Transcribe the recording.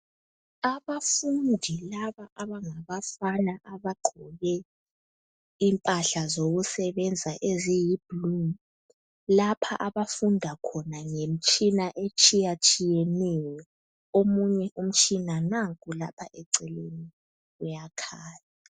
Abafundi laba abangabafana abagqoke impahla zokusebenza eziyiblue lapha abafunda khona ngemtshina etshiyeneyo omunye umtshina nanku lapha eceleni uyakhanya.